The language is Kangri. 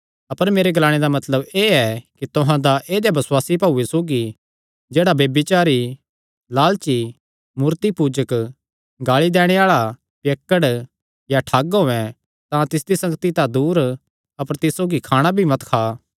अपर मेरे ग्लाणे दा मतलब एह़ ऐ कि तुहां दा ऐदेया बसुआसी भाऊये सौगी जेह्ड़ा ब्यभिचारी लालची मूर्तिपूजक गाल़ी दैणे आल़ा पियक्कड़ या ठग होयैं तां तिसदी संगति तां दूर अपर तिस सौगी खाणा भी मत खा